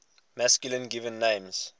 masculine given names